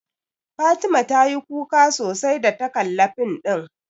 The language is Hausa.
Fatima ta yi kuka sosai da ta kalla fim ɗin